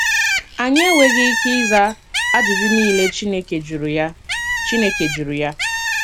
Anyị enweghị ike ịza ajụjụ niile Chineke jụrụ ya. Chineke jụrụ ya.